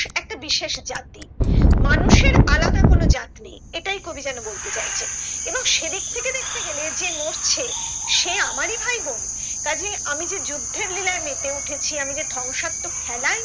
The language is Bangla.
একটা বিশেষ জাতি মানুষের আলাদা কোনো জাত নেই এটাই কবি যেন বলতে চাইছে এবং সেদিক থেকে দেখতে গেলে যে মরছে সে আমারি ভাইবোন কাজে আমি যে যুদ্ধের লীলায় মেতে উঠেছি আমি যে ধ্বংসাত্মক খেলায়